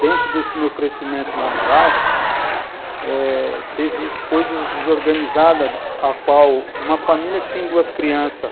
dentro desse meu crescimento lá no bairro, teve coisas desorganizadas, a qual uma família que tem duas crianças.